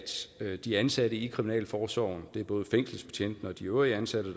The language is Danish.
de ansatte i kriminalforsorgen både fængselsbetjentene og de øvrige ansatte